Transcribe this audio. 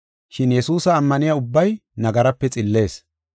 Shin Yesuusa ammaniya ubbay nagaraape xillees.